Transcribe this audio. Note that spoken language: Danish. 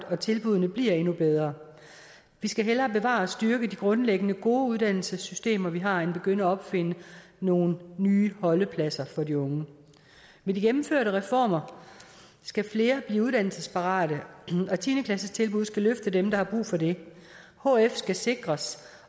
og tilbuddene bliver endnu bedre vi skal hellere bevare og styrke de grundlæggende gode uddannelsessystemer vi har end begynde at opfinde nogle nye holdepladser for de unge med de gennemførte reformer skal flere blive uddannelsesparate og tiende klassetilbud skal løfte dem der har brug for det hf skal sikres